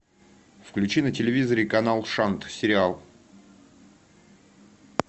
включи на телевизоре канал шант сериал